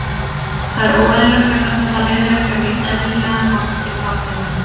Það er óeðlilegt vegna þess að það leiðir ekki á neinn eðlilegan hátt til barneigna.